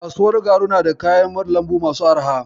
Kasuwar garu na da kayan lambu masu arha.